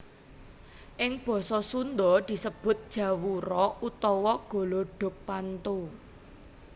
Ing basa Sunda disebut jawura utawa golodogpanto